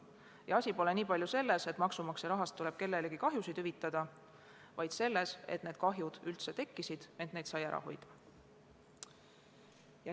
Ja asi pole mitte niivõrd selles, et maksumaksja rahast tuleb kellelegi kahjusid hüvitada, kuivõrd selles, et need kahjud üldse tekkisid, kuigi neid sai ära hoida.